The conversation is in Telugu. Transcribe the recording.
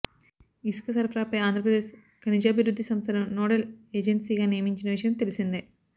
ఇసుక సరఫరాపై ఆంధ్రప్రదేశ్ ఖనిజాభివృద్ధి సంస్థను నోడల్ ఏజెన్సీగా నియమించిన విషయం తెలిసిందే